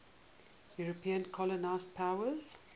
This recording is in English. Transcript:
european colonial powers